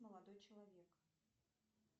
молодой человек